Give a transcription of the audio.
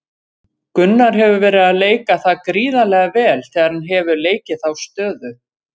Gunnar hefur verið að leika það gríðarlega vel þegar hann hefur leikið þá stöðu.